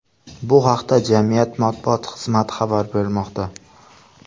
Bu haqda jamiyat matbuot xizmati xabar bermoqda .